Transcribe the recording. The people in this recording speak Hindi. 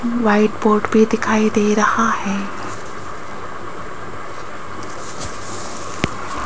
व्हाइट बोर्ड भी दिखाई दे रहा है।